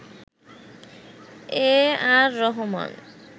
A R Rahman